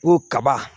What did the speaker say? Ko kaba